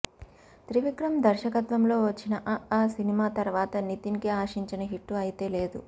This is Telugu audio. త్రివిక్రమ్ దర్శకత్వంలో వచ్చిన అ ఆ సినిమా తర్వాత నితిన్ కి ఆశించిన హిట్టు అయితే లేదు